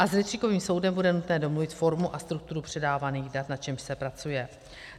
A s rejstříkovým soudem bude nutno domluvit formu a strukturu předávaných dat, na čemž se pracuje.